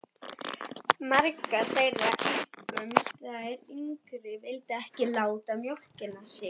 Margar þeirra, einkum þær yngri, vildu ekki láta mjólka sig.